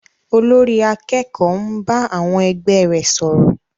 Olórí àkẹ́kòó ń bá àwọn ẹgbẹ́ rẹ̀ sọ̀rọ̀.